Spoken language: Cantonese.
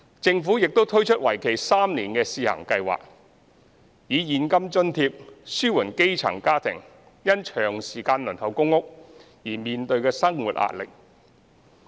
政府亦推出為期3年的試行計劃，以現金津貼紓緩基層家庭因長時間輪候公屋而面對的生活壓力。